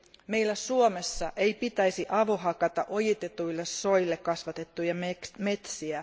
Meillä Suomessa ei pitäisi avohakata ojitetuille soille kasvatettuja metsiä.